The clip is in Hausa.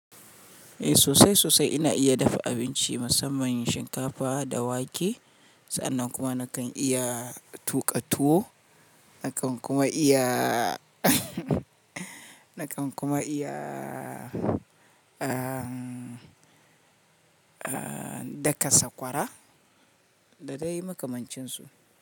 Eh sosai sosai ina iya dafa abinci musamman shinkafa da wake sannan kuma nakan iya tuƙa tuwo nakan kuma iya nakan kuma iya, daka sakwara da dai makamancin su.